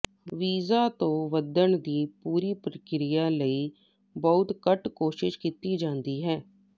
ਬੀਜਾਂ ਤੋਂ ਵਧਣ ਦੀ ਪੂਰੀ ਪ੍ਰਕਿਰਿਆ ਲਈ ਬਹੁਤ ਘੱਟ ਕੋਸ਼ਿਸ਼ ਕੀਤੀ ਜਾਂਦੀ ਹੈ